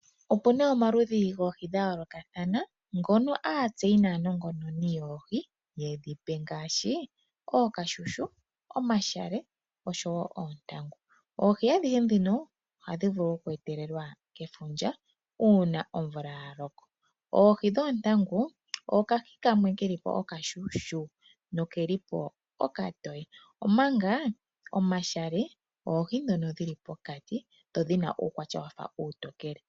Opu na omaludhi goohi dhayoolokathana ngono aatseyi naa nongononi yoohi ye dhi pe ngaashi: ookashushu, omashale osho woo oontangu. Oohi adhihe dhino ohadhi vulu oku etelelwa kefundja uuna omvula ya loko. Oohi dhoontangu okahi kamwe ke li po okashushu nokeli po okatowe, omanga omashale oohi dhono dhili pokati dho dhi na uukwatya wafa uutokele